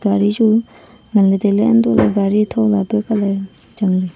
gaari chu ngan ley tai ley hantoh lah ley gaari tho lay peh colour chang ley.